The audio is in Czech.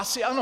Asi ano!